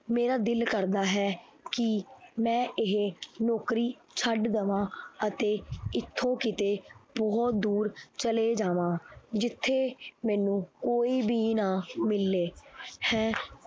ਮੇਰਾ ਦਿਲ ਕਰਦਾ ਹੈ ਕਿ ਮੈਂ ਇਹ ਨੌਕਰੀ ਛੱਡ ਦੇਵਾਂ ਅਤੇ ਇੱਥੋਂ ਕਿਤੇ ਬਹੁਤ ਦੂਰ ਚਲੇ ਜਾਵਾਂ ਜਿੱਥੇ ਮੈਨੂੰ ਕੋਈ ਵੀ ਨਾ ਮਿਲੇ ਹੈਂ